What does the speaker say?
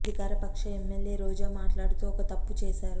అధికార పక్ష ఎమ్మెల్యే రోజా మాట్లాడుతూ ఒక తప్పు చేశారు